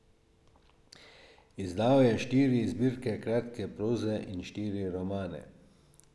Izdal je štiri zbirke kratke proze in štiri romane.